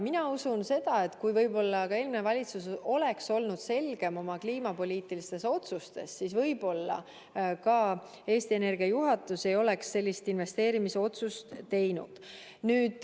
Mina usun, et kui eelmine valitsus oleks olnud selgem oma kliimapoliitilistes otsustes, siis võib-olla ka Eesti Energia juhatus ei oleks sellist investeerimisotsust teinud.